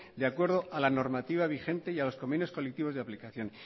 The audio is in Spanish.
de acuerdo a la normativa vigente y a los convenios colectivos de aplicación